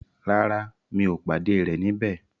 Rárá, mi ò pàdé rẹ̀ níbẹ̀.